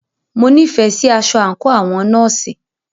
Mo nífẹẹ sí aṣọ àńkò àwọn nọ́ọ̀sì.